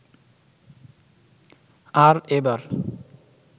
আর এবার